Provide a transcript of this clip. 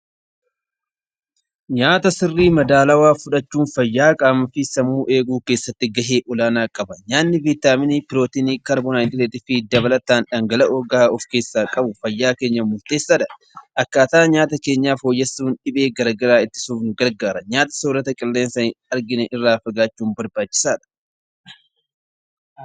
Nyaata madaalamaa nyaachuun fayyaa sammuu fi qaamaa irratti faayidaa guddaa qaba. Nyaanni pirootinii, kaarboohayidireetii fi dhangala'oo jabaa of keessaa qabu fayya keenyaaf murteessaadha. Akkaataa nyaata keenyaa sirreessuuf fayya qaama keenyaaf murteessadha.